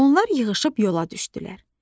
Onlar yığışıb yola düzəlib.